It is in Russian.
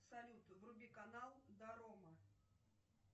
салют вруби канал дорома